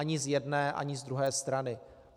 Ani z jedné ani z druhé strany.